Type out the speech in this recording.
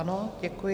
Ano, děkuji.